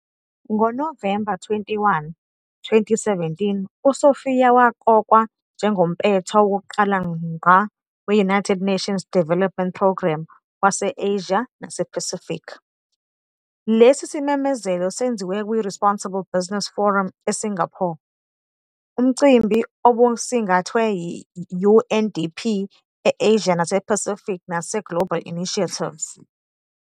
NgoNovemba 21, 2017, uSophia waqokwa njengompetha wokuqala ngqa we-United Nations Development Programme wase -Asia nasePacific. Lesi simemezelo senziwe kwi-Responsible Business Forum eSingapore, umcimbi obusingathwe yi-UNDP e-Asia nasePacific naseGlobal Initiatives.